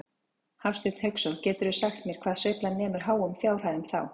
Hafsteinn Hauksson: Geturðu sagt mér hvað sveiflan nemur háum fjárhæðum þá?